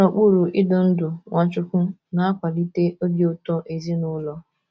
Ịnọ n’okpuru idu ndú Nwachukwu na - akwalite obi ụtọ ezinụlọ